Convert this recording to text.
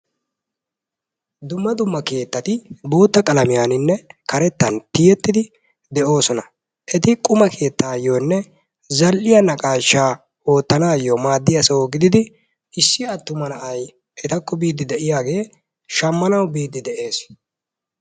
Dumma dumma keettati bootta qalamiyanimne karettan tiyettidi de'oosona. Eti quma keettayonne zal"iyaa naqashsha oottanawu maaddiya soho gididi issi attuma na'ay etakko biide de'iyaage shammanawu biide de'ees.